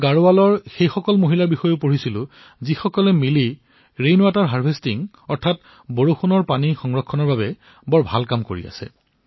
মই গাঢ়ৱালৰ সেই মহিলাসমূহৰ বিষয়েও পঢ়িছো যত সকলোৱে লগ হৈ বৰষুণৰ পানী জমা কৰাৰ ওপৰত ভাল কাম কৰি আছে